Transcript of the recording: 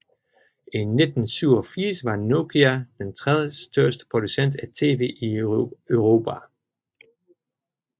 I 1987 var Nokia den tredjestørste producent af TV i Europa